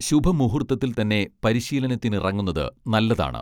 ശുഭമുഹൂർത്തത്തിൽതന്നെ പരിശീലനത്തിനിറങ്ങുന്നത് നല്ലതാണ്